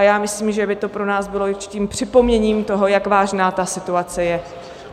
A já myslím, že by to pro nás bylo určitým připomenutím toho, jak vážná ta situace je.